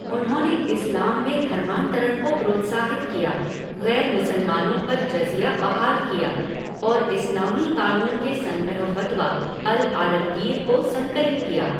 उन्होंने इस्लाम में धर्मांतरण को प्रोत्साहित किया, गैर मुसलमानों पर जज़िया बहाल किया और इस्लामी कानून के संग्रह फ़तवा अल आलमगीर को संकलित किया।